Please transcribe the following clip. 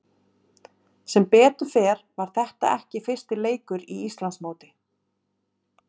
Sem betur fer var þetta ekki fyrsti leikur í Íslandsmóti.